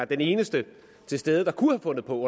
den eneste til stede der kunne have fundet på